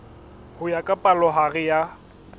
ho ya ka palohare ya